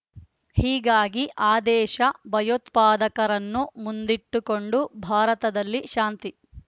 ಹೀಗಾಗಿ ಆದೇಶ ಭಯೋತ್ಪಾದಕರನ್ನು ಮುಂದಿಟ್ಟುಕೊಂಡು ಭಾರತದಲ್ಲಿ ಶಾಂತಿ